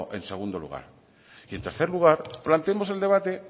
en segundo lugar y en tercer lugar planteemos el debate